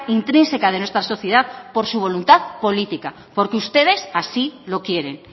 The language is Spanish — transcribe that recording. intrínseca de nuestra sociedad por su voluntad política porque ustedes así lo quieren